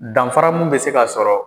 Danfara miun bɛ se ka sɔrrɔ.